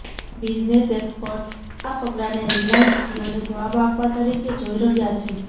business experts આ પગલાને Reliance જિઓને જવાબ આપવા તરીકે જોઈ રહ્યા છે